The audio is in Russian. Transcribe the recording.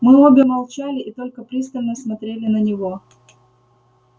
мы обе молчали и только пристально смотрели на него